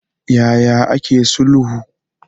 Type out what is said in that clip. Ya ya ake sulhu?